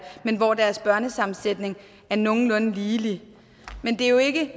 men hvor deres børnesammensætning er nogenlunde ligelig men det er jo ikke